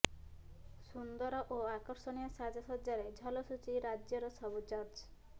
ସୁନ୍ଦର ଓ ଆକର୍ଷଣୀୟ ସାଜସଜ୍ଜାରେ ଝଲସୁଛି ରାଜ୍ୟର ସବୁ ଚର୍ଚ୍ଚ